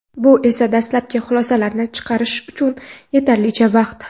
Bu esa dastlabki xulosalarni chiqarish uchun yetarlicha vaqt.